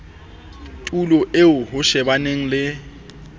tulo eo ho shebana le